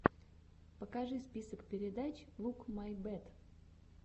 покажи список передач лук май бэт